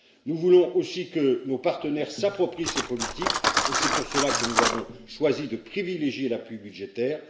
Nous voulons aussi que nos partenaires s'approprient ces politiques et c'est pour cela que nous avons choisi de privilégier l'appui budgétaire.